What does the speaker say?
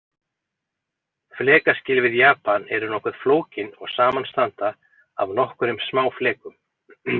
Flekaskil við Japan eru nokkuð flókin og samanstanda af nokkrum smáflekum.